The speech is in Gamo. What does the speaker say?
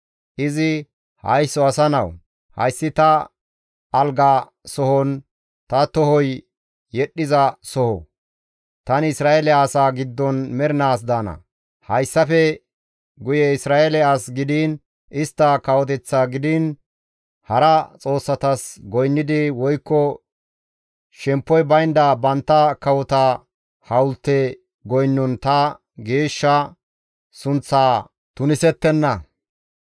Izi «Haysso asa nawu, hayssi ta alga sohonne ta tohoy yedhdhiza soho. Tani Isra7eele asaa giddon mernaas daana. Hayssafe guye Isra7eele as gidiin, istta kawoteththa gidiin, hara xoossatas goynnidi woykko shemppoy baynda bantta kawota hawulte goynnon ta geeshsha sunththaa tunisettenna.